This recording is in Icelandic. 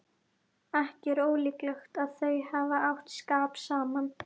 Ekki er ólíklegt að þau hafi átt skap saman.